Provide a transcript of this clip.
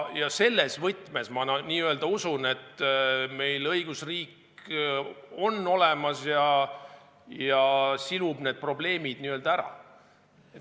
Ja selles võtmes ma usun, et meil õigusriik on olemas ja n-ö silub need probleemid ära.